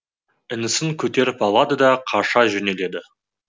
інісін көтеріп алады да қаша жөнеледі